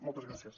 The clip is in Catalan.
moltes gràcies